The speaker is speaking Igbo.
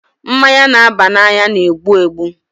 Mmanya na-aba n'anya na-egbu egbu.